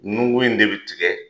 Nukun in de be tigɛ